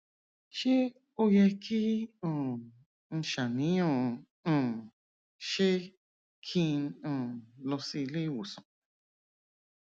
ṣé ó yẹ kí um n ṣàníyàn um ṣé kí n um lọ sí ilé ìwòsàn